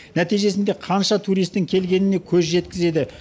нәтижесінде қанша туристің келгеніне көз жеткізеді